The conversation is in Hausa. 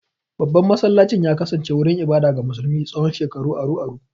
Babban masallacin ya kasance wurin ibada ga musulmi tsawon shekaru aru-aru.